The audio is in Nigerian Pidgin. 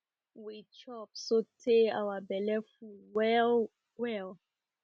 we chop so tey our belle well well